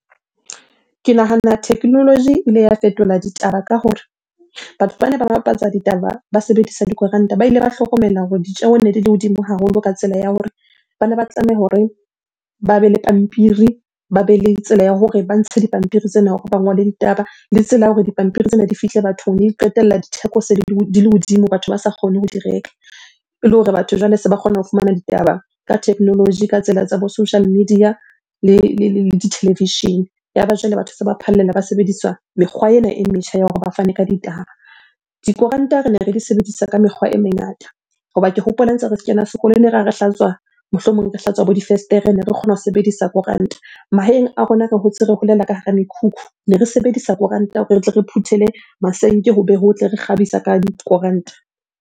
Ke nahana technology ile ya fetola ditaba ka hore batho bane ba bapatsa ditaba ba sebedisa dikoranta, ba ile ba hlokomela hore ditjeho ne di le hodimo haholo ka tsela ya hore bana ba tlameha hore ba be le pampiri, ba be le tsela ya hore ba ntshe dipampiri tsena hore ba ngole ditaba. Le tsela ya hore dipampiri tsena di fihle bathong ne di qetella di theko di le hodimo, batho ba sa kgone ho di reka. Ele hore batho jwale se ba kgona ho fumana ditaba ka technology, ka tsela tsa bo social media le ditelevishene. Ya ba jwale batho se ba phallela ba sebedisa mekgwa ena e metjha ya hore ba fane ka ditaba. Dikoranta rene re di sebedisa ka mekgwa e mengata. Hoba ke hopola ntse re kena sekolo ene re ha re hlatswa, mohlomong re hlatswa bo difestere. Ne re kgona ho sebedisa koranta. Mahaeng a rona re hotse re holela ka hara mekhukhu, ne re sebedisa koranta hore re tle re phuthele masenke ho be hotle. Re kgabisa ka koranta.